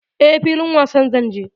E, filin wasa zan je.